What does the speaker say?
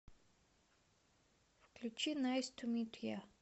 включи найс ту мит я